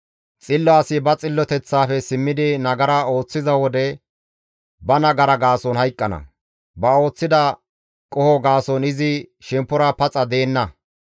Xillo asi ba xilloteththaafe simmidi nagara ooththiza wode ba nagara gaason hayqqana; ba ooththida qoho gaason izi shemppora paxa deenna.